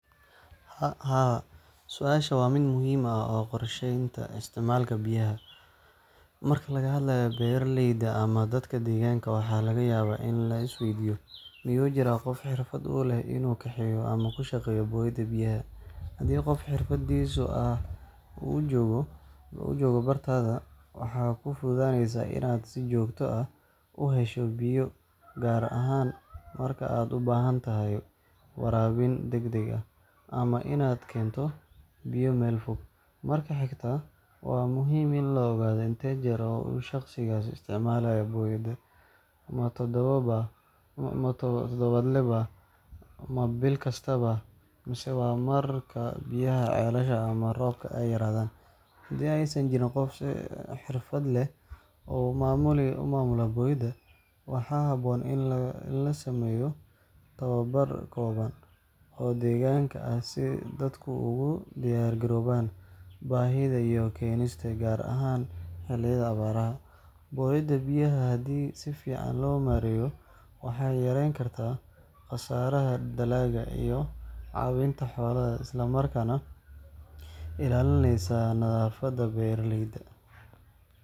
Haa, su’aashu waa mid muhiim u ah qorsheynta isticmaalka biyaha. Marka laga hadlayo beeraleyda ama dadka deegaanka, waxaa laga yaabaa in la isweydiiyo: Miyuu jirraa qof xirfad u leh inuu kaxeeyo ama ku shaqeeyo booyadda biyaha? Haddii qof xirfadlahaas ah uu joogo bartaada, waxay kuu fududaynaysaa inaad si joogto ah u hesho biyo, gaar ahaan marka aad u baahan tahay waraabin degdeg ah ama inaad keento biyo meel fog. Marka xigta, waa muhiim in la ogaado intee jeer uu shaqsigaas isticmaalayo booyadda: ma toddobaadle baa? ma bil kasta baa? mise waa marka biyaha ceelasha ama roobka ay yaraadaan? Haddii aysan jirin qof si xirfad leh u maamula booyadda, waxaa habboon in la sameeyo tababar kooban oo deegaanka ah si dadku ugu diyaargaroobaan baahida biyo keenista, gaar ahaan xilliyada abaaraha. Booyadda biyaha haddii si fiican loo maareeyo, waxay yareyn kartaa khasaaraha dalagga iyo caawinta xoolaha, isla markaana ilaalinaysa nadaafadda beeraleyda.